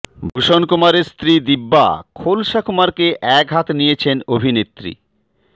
ভূষণ কুমারের স্ত্রী দিব্যা খোলসা কুমারকে একহাত নিয়েছেন অভিনেত্রী